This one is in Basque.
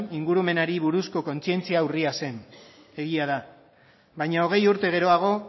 ingurumenari buruzko kontzientzia urria zen egia da baina hogei urte geroago